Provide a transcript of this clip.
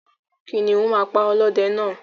Kìnìún náà pa ọlọ́dẹ náà.